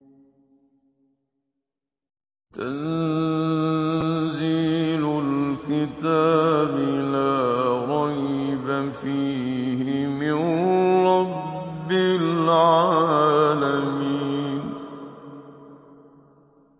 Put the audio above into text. تَنزِيلُ الْكِتَابِ لَا رَيْبَ فِيهِ مِن رَّبِّ الْعَالَمِينَ